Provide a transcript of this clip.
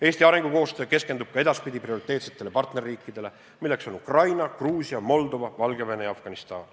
Eesti arengukoostöö keskendub ka edaspidi prioriteetsetele partnerriikidele, milleks on Ukraina, Gruusia, Moldova, Valgevene ja Afganistan.